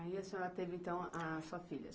Aí a senhora teve então a sua filha.